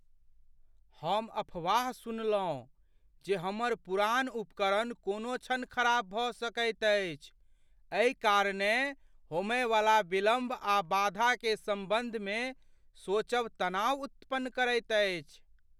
हम अफवाह सुनलहुँ जे हमर पुरान उपकरण कोनो क्षण खराब भऽ सकैत अछि। एहि कारणेँ होमयवला विलम्ब आ बाधा के सम्बन्धमे सोचब तनाव उत्पन्न करैत अछि।